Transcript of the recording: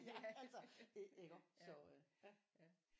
Altså iggå så øh